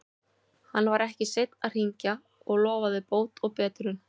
Hann var ekki seinn að hringja og lofaði bót og betrun.